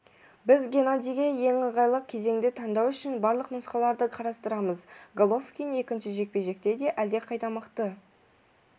біз геннадийге ең ыңғайлы кезеңді таңдау үшін барлық нұсқаларды қарастырамыз головкин екінші жекпе-жекте де әлдеқайда мықты